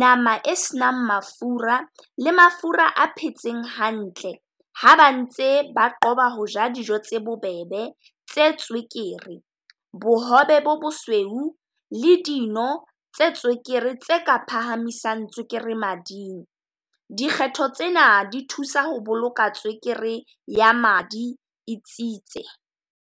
nama e senang mafura le mafura a phetseng hantle. Ha ba ntse ba qoba ho ja dijo tse bobebe tse tswekere, bohobe bo bosweu le dino tse tswekere tse ka phahamisang tswekere mading. Dikgetho tsena di thusa ho boloka tswekere ya madi e tsitse.